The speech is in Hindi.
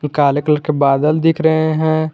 काले कलर के बादल दिख रहे हैं।